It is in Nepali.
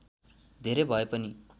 धेरै भए पनि